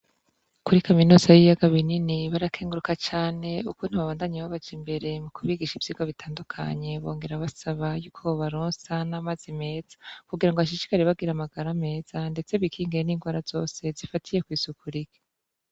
Kuri kaminuza y'ibiyaga binini barakenguruka cane ukuntu babandanye babaja imbere mu kubigisha iyigwa bitandukanye bongera basaba y'uko bobaronsa n'amazi meza kugira ngo bashishikare bagira amagarameza ndetse bikingire n'ingwara zose zifatiye kwisuku rike.